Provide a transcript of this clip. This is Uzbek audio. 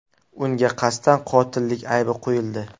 Unga qasddan qotillik aybi qo‘yildi.